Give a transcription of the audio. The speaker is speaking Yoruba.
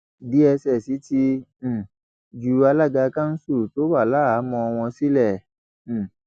dss ti um ju alága kanṣu tó wà láhàámọ wọn sílẹ um